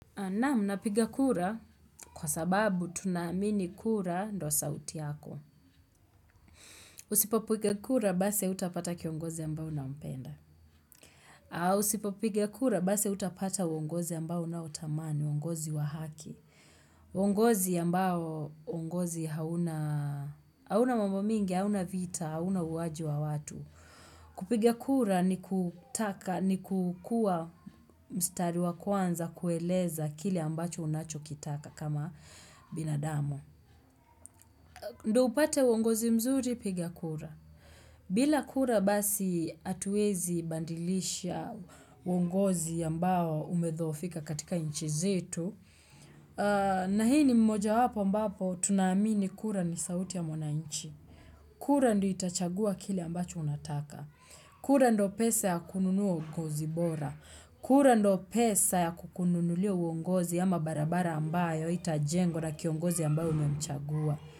Naam napiga kura kwa sababu tunaamini kura ndio sauti yako. Usipopiga kura basi hautapata kiongozi ambao unampenda. Au usipopiga kura basi hautapata uongozi ambao unautamani, uongozi wa haki. Uongozi ambao uongozi hauna, hauna mambo mingi, hauna vita, hauna uuaji wa watu. Kupiga kura ni kutaka ni kukuwa mstari wa kwanza kueleza kile ambacho unachokitaka kama binadamu. Ndio upate uongozi mzuri piga kura. Bila kura basi hatuezi badilisha uongozi ambao umedhoofika katika nchi zetu. Na hii ni moja wapo ambapo tunaamini kura ni sauti ya mwananchi. Kura ndio itachagua kile ambacho unataka. Kura ndio pesa ya kununua kozi bora. Kura ndio pesa ya kukununulia uongozi ama barabara ambayo haitajengwa na kiongozi ambaye umemchagua.